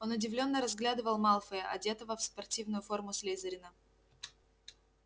он удивлённо разглядывал малфоя одетого в спортивную форму слизерина